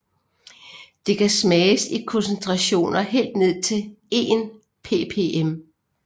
Det kan smages i koncentrationer helt ned til 1 ppm